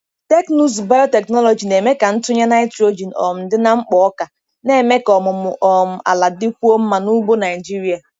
Teknụzụ biotechnology na-eme ka ntụnye nitrogen um dị na mkpo ọka, na-eme ka ọmụmụ um ala dịkwuo mma n'ugbo Nigeria.